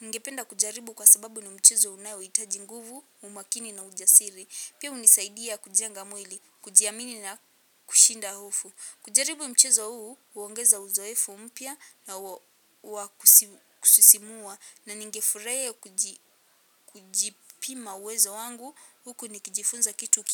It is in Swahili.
Ningependa kujaribu kwa sababu ni mchezo unao hitaji nguvu umakini na ujasiri pia hunisaidia kujenga mwili kujiamini na kushinda hofu kujaribu mchezo huu huongeza uzoefu mpya na wakusisimua na ningefurahia kujipima uwezo wangu huku nikijifunza kitu ki.